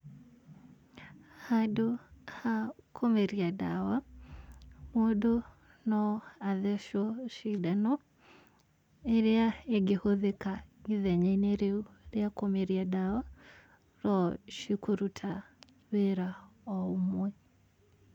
Handũ ha kũmeria ndawa, mũndũ no atheshwo cindano ĩrĩa ĩngĩhũthĩka ithenya-inĩ rĩu rĩa kũmeria ndawa, cikũruta wĩra ũmwe.